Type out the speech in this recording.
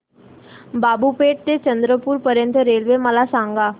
बाबूपेठ ते चंद्रपूर पर्यंत रेल्वे मला सांगा